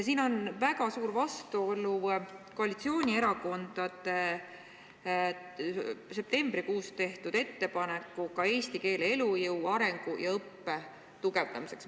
Siin on väga suur vastuolu koalitsioonierakondade septembrikuus tehtud ettepanekuga eesti keele elujõu, arengu ja õppe tugevdamiseks.